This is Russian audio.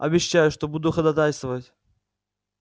обещаю что буду ходатайствовать